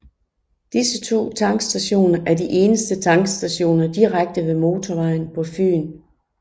Disse to tankstationer er de eneste tankstationer direkte ved motorvejen på Fyn